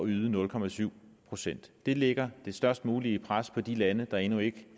yde nul procent procent det lægger det størst mulige pres på de lande der endnu ikke